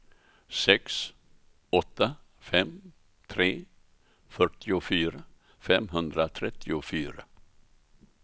sex åtta fem tre fyrtiofyra femhundratrettiofyra